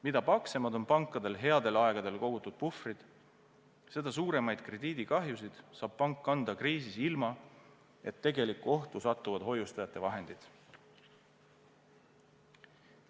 Mida paksemad on pankadel headel aegadel kogutud puhvrid, seda suuremaid krediidikahjusid saab pank kanda kriisis ilma, et tegelikku ohtu satuvad hoiustajate vahendid.